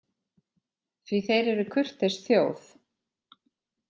Því þeir eru kurteis þjóð.